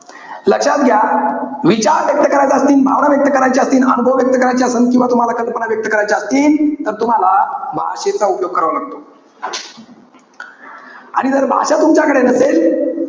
लक्षात घ्या. विचार व्यक्त करायचे असतील, भावना व्यक्त करायचे असतील, अनुभव व्यक्त करायचे असन. किंवा तुम्हाला कल्पना व्यक्त करायच्या असतील. तर तुम्हाला, भाषेचा उपयोग करावा लागतो. आणि जर भाषा तुमच्याकडे नसेल.